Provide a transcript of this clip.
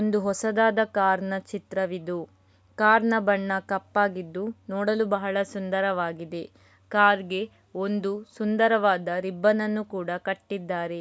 ಒಂದು ಹೊಸದಾದ ಕಾರಿನ ಚಿತ್ರವಿದು. ಕಾರಿನ ಬಣ್ಣ ಕಪ್ಪಾಗಿದ್ದು ನೋಡಲು ಬಹಳ ಸುಂದರವಾಗಿದೆ. ಕಾರಿಗೆ ಒಂದು ಸುಂದರವಾದ ರಿಬ್ಬನ್‌ನನ್ನು ಕೂಡ ಕಟ್ಟಿದ್ದಾರೆ.